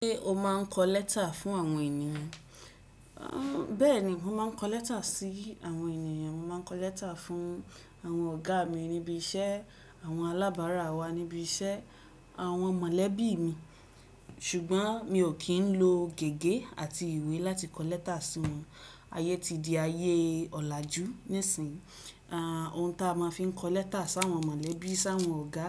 Ṣé o máa ń kọ lẹ́tà fún àwọn ènìyàn? Bẹ́ẹ̀ni, mò máa ń kọ lẹ́tà sí àwọn ènìyàn. Mó máa ń kọ lẹ́tà fún àwọn ọ̀gá mi níbi iṣẹ́, àwọn alábàárà wa níbi iṣẹ́, àwọn mọ̀lẹ́bí mi. Ṣùgbọ́n mi ò kí ń lo gègé àti ìwé láti kọ lẹ́tà sí wọn. Ayé ti di ayé ọ̀làjú nísìnyí. Ohun tí a máa fi ń kọ lẹ́tà sí àwọn mọ̀lẹ́bí, sí àwọn ọ̀gá